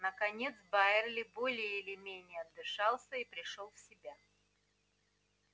наконец байерли более или менее отдышался и пришёл в себя